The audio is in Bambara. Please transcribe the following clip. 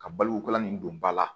Ka balo wula nin don ba la